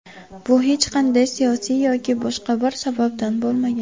Bu hech qanday siyosiy yoki boshqa bir sababdan bo‘lmagan.